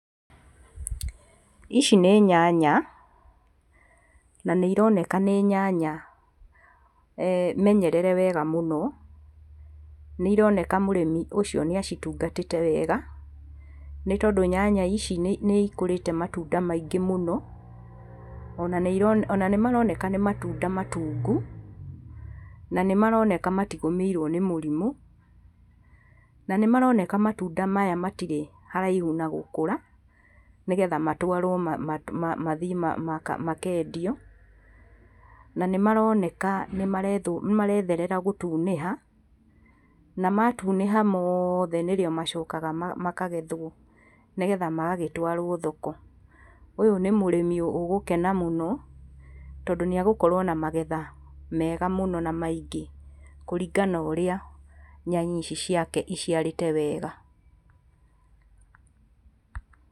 Ici nĩ nyanya na nĩironeka nĩ nyanya menyerere wega mũno. Nĩironeka mũrĩmi ũcio nĩacitungatĩte wega, nĩtondũ nyanya ici nĩikũrĩte matunda maingi mũno ona nĩmaroneka nĩ matunda matungu, na nĩmaroneka matigũmĩirwo nĩ mũrimũ, na nĩmaroneka matunda maya matirĩ haraihu na gũkũra nĩgetha matwarwo mathiĩ makendio. Nac nĩmaroneka nĩmaretherera gũtunĩha na matunĩha moothe nĩrĩo macokaga makagethwo nĩgetha magagĩtwarwo thoko. Ũyũ nĩ mũrĩmi ũgũkena mũno tondũ nĩagũgĩkorwo na magetha mega mũno na maingĩ kũringana na ũrĩa nyanya ici ciake iciarĩte wega.